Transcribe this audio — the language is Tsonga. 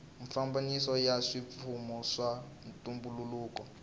mafambiselo ya swipfuno swa ntumbuluko